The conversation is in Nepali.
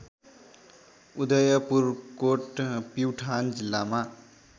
उदयपुरकोट प्युठान जिल्लामा